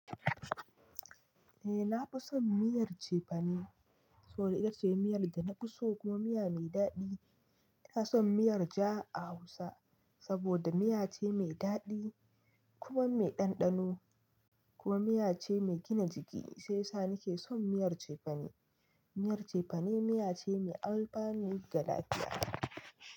Eh na fi son miyar cefane saboda ita ce miyar da na fi so kuma miya mai daɗi. Ina son miyar ja a Hausa saboda miya ce mai daɗi kuma mai ɗanɗano kuma miya ce mai gina jiki sai yasa nake son miyar cefane. Miyar cefane miya ce mai alfanu ga lafiya.